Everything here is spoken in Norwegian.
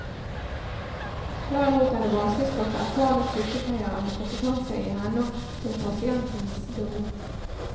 Derimot er det vanskelig å skaffe erfarne sykepleiere med kompetanse i henhold til pasientens behov.